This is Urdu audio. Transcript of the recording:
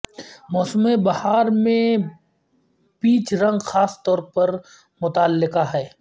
موسم بہار میں پیچ رنگ خاص طور پر متعلقہ ہے